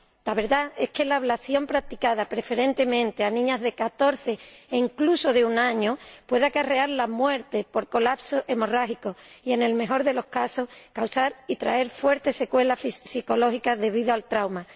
La verdad es que la ablación, practicada preferentemente a niñas de 14 años e incluso de un año, puede acarrear la muerte por colapso hemorrágico y, en el mejor de los casos, causar y traer fuertes secuelas psicológicas debido al trauma.